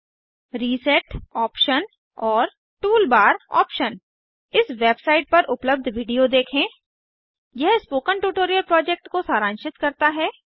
reset option और tool bar tool bar option इस website पर उपलब्ध वीडियो देखें यह स्पोकन ट्यूटोरियल प्रोजेक्ट को सारांशित करता है